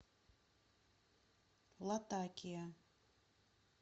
латакия